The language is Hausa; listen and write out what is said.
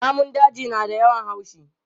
Namun daji na da yawan haushi.